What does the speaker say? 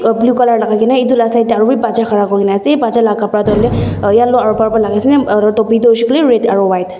blue colour logai kina etu laga tar side te aru bhi batcha khara kori kina ase batcha laga kapara tu yellow aru purple laga ase aru topi tu red aru white .